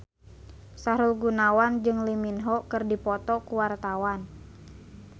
Sahrul Gunawan jeung Lee Min Ho keur dipoto ku wartawan